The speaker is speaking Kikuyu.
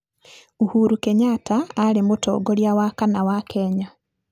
Uhuru Kenyatta aarĩ Mũtongoria wa kana wa Kenya.